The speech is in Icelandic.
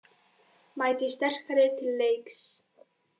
Mæti sterkari til leiks